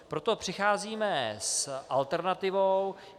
Proto přicházíme s alternativou.